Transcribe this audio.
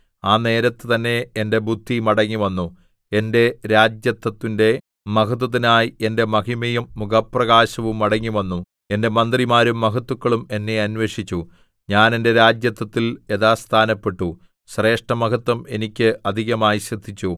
ആ നേരത്ത് തന്നെ എന്റെ ബുദ്ധി മടങ്ങിവന്നു എന്റെ രാജത്വത്തിന്റെ മഹത്വത്തിനായി എന്റെ മഹിമയും മുഖപ്രകാശവും മടങ്ങിവന്നു എന്റെ മന്ത്രിമാരും മഹത്തുക്കളും എന്നെ അന്വേഷിച്ചു ഞാൻ എന്റെ രാജത്വത്തിൽ യഥാസ്ഥാനപ്പെട്ടു ശ്രേഷ്ഠമഹത്വം എനിക്ക് അധികമായി സിദ്ധിച്ചു